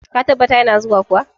Ka tabbata ya na zuwa?